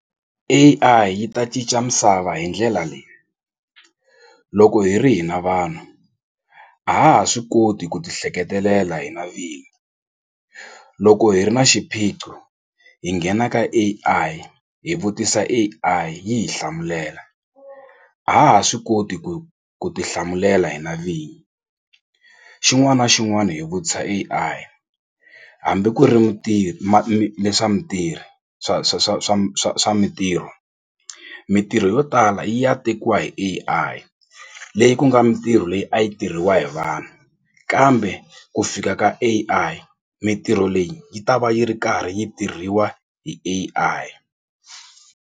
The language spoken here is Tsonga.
A_I yi ta cinca misava hi ndlela leyi loko hi ri hina vanhu a ha ha swi koti ku ti hleketelela hina vini loko hi ri na xiphiqo hi nghena ka A_I hi vutisa A_I yi hi hlamulela a ha ha swi koti ku ku tihlamulela hi na vini xin'wana na xin'wana hi vutisa A_I hambi ku ri leswa mitirho swa swa swa swa swa swa mitirho mitirho yo tala yi ya tekiwa hi A_I leyi ku nga mintirho leyi a yi tirhiwa hi vanhu kambe ku fika ka A_I mitirho leyi yi ta va yi ri karhi yi tirhiwa hi A_I.